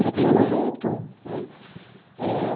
Até os sete anos em Itu né eh.